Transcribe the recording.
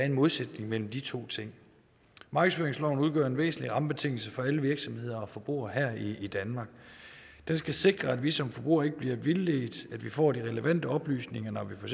en modsætning mellem de to ting markedsføringsloven udgør en væsentlig rammebetingelse for alle virksomheder og forbrugere her i danmark den skal sikre at vi som forbrugere ikke bliver vildledt at vi får de relevante oplysninger når vi for